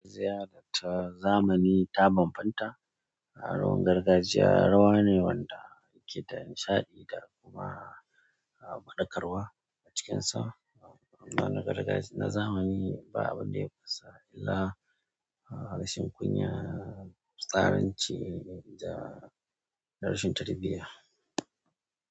Ziyarata zamani ta banbanta, rawar gargajiya rawa ne wanda yake da nishaɗi da kuma banɗakarwa a cikinsa. Amma na gargajiya na zamani ba abun da ya fasa illa, rashin kunya, fisaranci da rashin tarbiyya.